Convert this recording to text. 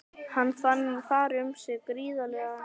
Hann fann fara um sig gríðarlegan fögnuð.